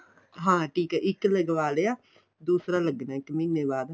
ਹਾਂ ਟੀਕਾ ਇੱਕ ਲਗਵਾ ਲਿਆ ਦੂਸਰਾ ਲਗਨਾ ਇੱਕ ਮਹੀਨੇ ਬਾਅਦ